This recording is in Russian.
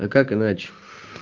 а как иначе